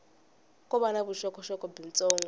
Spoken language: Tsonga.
ko va na vuxokoxoko byitsongo